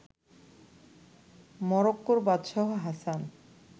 মরক্কোর বাদশাহ হাসান